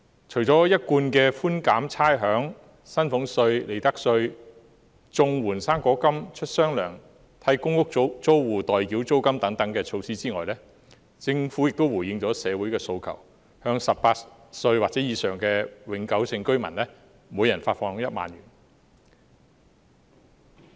除了一貫的寬減差餉、薪俸稅及利得稅；綜援、"生果金"出"雙糧"；替公屋租戶代繳租金等措施外，政府亦回應了社會的訴求，向18歲或以上的永久性居民每人發放1萬元。